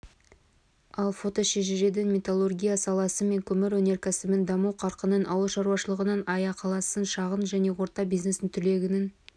ал фотошежіреден металлургия саласы мен көмір өнеркәсібінің даму қарқынын ауылшаруашылығының аяқалысын шағын және орта бизнестің түлегенін